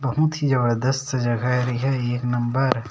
बहुत ही जबरजस्त जगह हे एहा एक नंबर --